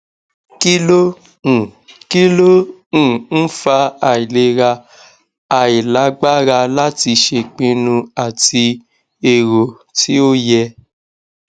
kí ló um kí ló um ń fa àìlera ailagbára láti ṣèpinnu àti èrò ti o ye